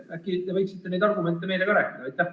Äkki te võiksite meile ka sellest rääkida?